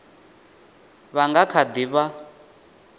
vha nga kha ḓi vha